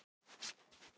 Við ætlum að taka yfir.